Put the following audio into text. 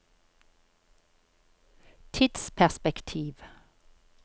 tidsperspektiv